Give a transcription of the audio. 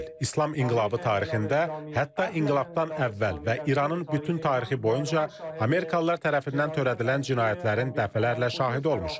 İslam inqilabı tarixində, hətta inqilabdan əvvəl və İranın bütün tarixi boyunca Amerikalılar tərəfindən törədilən cinayətlərin dəfələrlə şahidi olmuşuq.